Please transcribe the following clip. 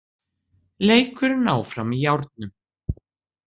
Leikurinn áfram í járnum